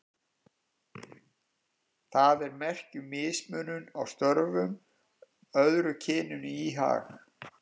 Það er merki um mismunun á störfum, öðru kyninu í hag.